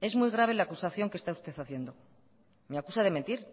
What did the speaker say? es muy grave la acusación que está usted haciendo me acusa de mentir